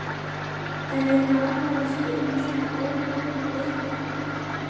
En er gaman að spila svona ójafna leiki?